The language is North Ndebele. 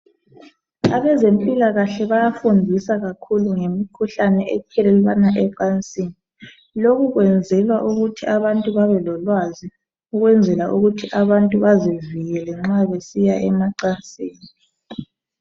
Abezempilakahle Bayafundisa kakhulu ngemikhuhlane ethelelwana ecansini lokhu kwenzelwa ukuthi abantu babe lolwazi ukwenzela ukuthi abantu bazivikele nxa besiya emacansini